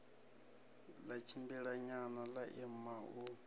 ḽa tshimbilanyana ḽa ima u